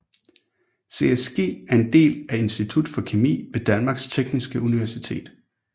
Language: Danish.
CSG er en del af Institut for Kemi ved Danmarks Tekniske Universitet